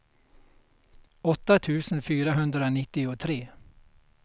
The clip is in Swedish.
åtta tusen fyrahundranittiotre